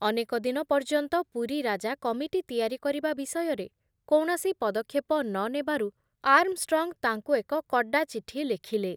ଅନେକ ଦିନ ପର୍ଯ୍ୟନ୍ତ ପୁରୀ ରାଜା କମିଟି ତିଆରି କରିବା ବିଷୟରେ କୌଣସି ପଦକ୍ଷେପ ନ ନେବାରୁ ଆର୍ମଷ୍ଟ୍ରଙ୍ଗ ତାଙ୍କୁ ଏକ କଡା ଚିଠି ଲେଖିଲେ ।